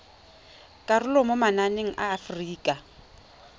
karolo mo mananeng a aforika